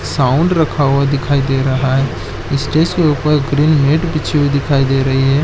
--Sound रखा हुआ दिखाई दे रहा है स्टेज के ऊपर ग्रीन नेट बीछी हुई दिखाई दे रही है।